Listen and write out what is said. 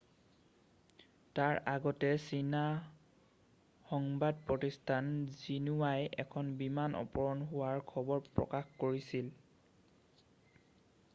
তাৰ আগতে চীনা সংবাদ প্ৰতিষ্ঠান জিনোৱাই এখন বিমান অপহৰণ হোৱাৰ খবৰ প্ৰকাশ কৰিছিল।